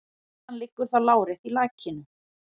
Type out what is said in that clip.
Iðan liggur þá lárétt í lakinu.